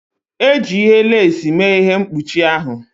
E ji ihe lasị mee ihe mkpuchi ahụ.